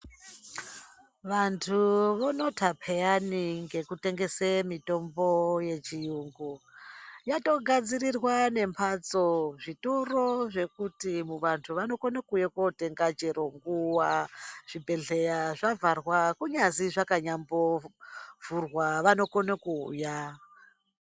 Vantu vonota peyani ngekutengese mitombo yechiyungu yatogadzirirwa nemahatso zvitoro zvekuti vantu vanokone kuuya kotenga chero nguwa zvibhehleya zvavharwa kunyazi zvakanyambovhurwa vanokone kuuya.